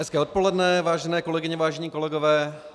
Hezké odpoledne, vážené kolegyně, vážení kolegové.